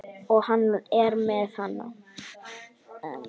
Og hann er enn að.